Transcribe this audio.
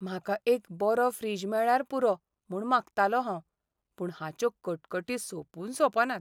म्हाका एक बरो फ्रिज मेळ्ळ्यार पुरो म्हूण मागतालों हांव, पूण हाच्यो कटकटी सोंपून सोंपनात.